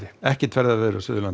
ekkert ferðaveður á Suðurlandi